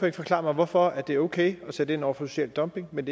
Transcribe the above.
ikke forklare mig hvorfor det er okay at sætte ind over for social dumping men